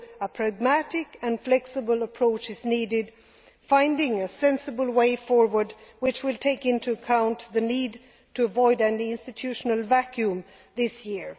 So a pragmatic and flexible approach is needed, finding a sensible way forward which will take into account the need to avoid any institutional vacuum this year